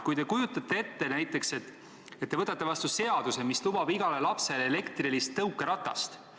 Kui te kujutate ette, et te võtate vastu seaduse, mis lubab igale lapsele elektrilist tõukeratast.